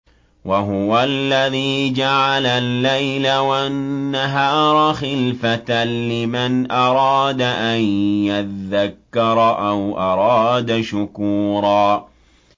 وَهُوَ الَّذِي جَعَلَ اللَّيْلَ وَالنَّهَارَ خِلْفَةً لِّمَنْ أَرَادَ أَن يَذَّكَّرَ أَوْ أَرَادَ شُكُورًا